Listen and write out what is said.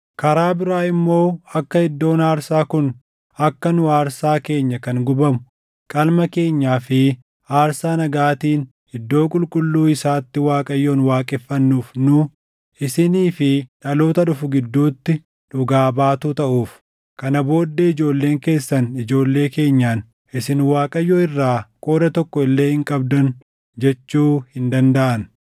Karaa biraa immoo akka iddoon aarsaa kun akka nu aarsaa keenya kan gubamu, qalma keenyaa fi aarsaa nagaatiin iddoo qulqulluu isaatti Waaqayyoon waaqeffannuuf nu, isinii fi dhaloota dhufu gidduutti dhugaa baatuu taʼuuf. Kana booddee ijoolleen keessan ijoollee keenyaan, ‘Isin Waaqayyo irraa qooda tokko illee hin qabdan’ jechuu hin dandaʼan.